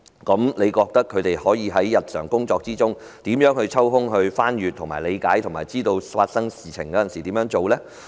試問他們在日常工作中，可如何抽空翻閱及理解有關指引，並在有事發生時，懂得如何處理呢？